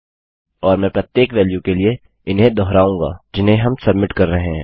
और मैं प्रत्येक वेल्यू के लिए इन्हें दोहराऊँगा जिन्हें हम सब्मिट कर रहे हैं